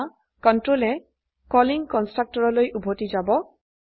এতিয়া কন্ট্ৰোলে কলিং কন্সট্ৰকটৰৰলৈ উভতি যায়